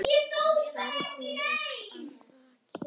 Ferðin er að baki.